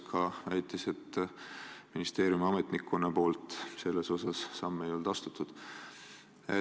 Ka väitis ta, et ministeeriumi ametnikkond pole selles osas samme astunud.